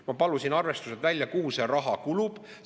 Ma palusin arvestusi, kuhu see raha kulub.